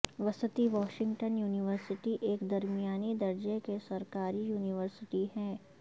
وسطی Washington university ایک درمیانی درجے کی سرکاری یونیورسٹی ہے